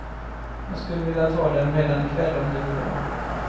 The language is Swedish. Jag skulle vilja ta dem redan i kväll om det går bra.